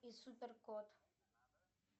и супер кот